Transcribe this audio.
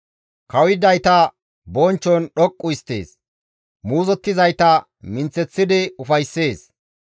Kawuyidayta bonchchon dhoqqu histtees; muuzottizayta minththeththidi ufayssees.